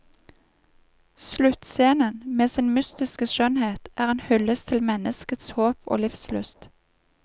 Sluttscenen, med sin mystiske skjønnhet, er en hyllest til menneskets håp og livslyst.